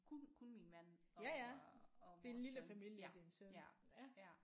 Kun kun min mand og og vores søn ja ja ja